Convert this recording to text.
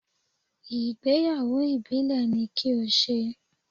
Ìgbéyàwó ìbílẹ̀ ni kí o ṣe!